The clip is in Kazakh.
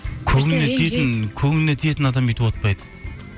көңіліне тиетін адам бүйтіп отпайды